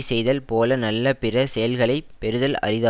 செய்தல் போல நல்ல பிற செயல்களை பெறுதல் அரிதா